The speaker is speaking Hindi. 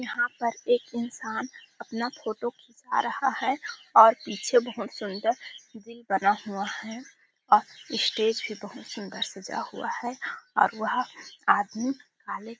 यहाँ पर एक इंसान अपना फोटो खींचा रहा है और पीछे बहुत सुंदर दिल बना हुआ है और स्टेज भी बहुत सुंदर सजा हुआ है और वह आदमी काले --.